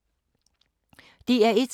DR1